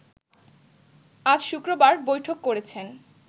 আজ শুক্রবার বৈঠক করেছেন